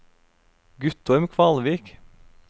Guttorm Kvalvik